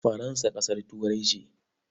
Faransa ƙasar Turai ce?